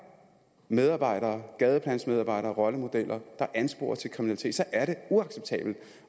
medarbejdere gadeplansmedarbejdere rollemodeller der ansporer til kriminalitet så er det uacceptabelt